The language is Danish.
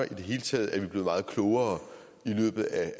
det hele taget er vi blevet meget klogere i løbet af